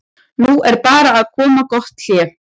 Nú er bara að koma gott hlé.